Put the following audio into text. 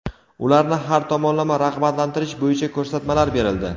ularni har tomonlama rag‘batlantirish bo‘yicha ko‘rsatmalar berildi.